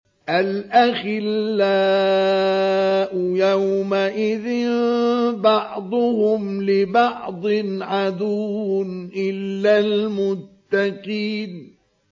الْأَخِلَّاءُ يَوْمَئِذٍ بَعْضُهُمْ لِبَعْضٍ عَدُوٌّ إِلَّا الْمُتَّقِينَ